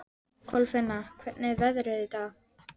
Svo leit hún upp úr balanum.